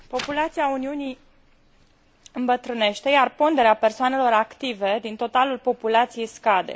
Populația Uniunii îmbătrânește, iar ponderea persoanelor active din totalul populației scade.